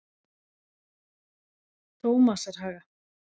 Tómasarhaga